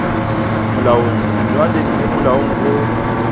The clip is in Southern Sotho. molaong melawaneng le molaong o